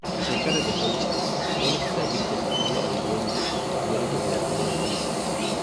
A shekarar da ta wuce, gwamnati ta girke fitilu a unguwarmu domin rage barazanar fashi.